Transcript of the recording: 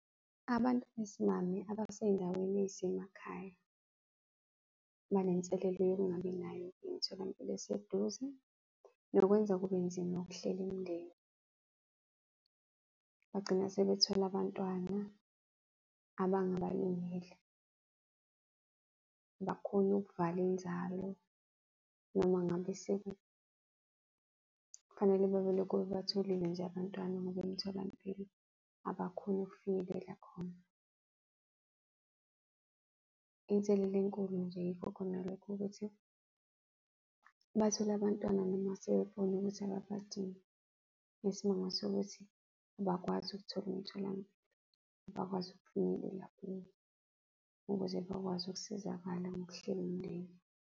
Abantu besimame abasey'ndaweni ey'semakhaya banenselelo yokungabi nayo imitholampilo eseduze nokwenza kube nzima ukuhlela imindeni. Bagcina sebethola abantwana abangabalungele, abakhoni ukuvala inzalo noma ngabe . Kufanele babebelokhu bebatholile nje abantwana ngoba emtholampilo abakhoni ukufinyelela khona. Inselela enkulu nje yikho khona lokho ukuthi bathole abantwana noma sebebona ukuthi ababadingi ngesimanga sokuthi abakwazi ukuthola umtholampilo, abakwazi ukufinyelela kuwo ukuze bakwazi ukusizakala ngokuhlela umndeni.